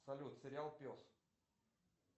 салют сериал пес